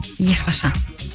ешқашан